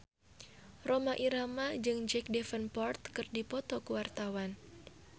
Rhoma Irama jeung Jack Davenport keur dipoto ku wartawan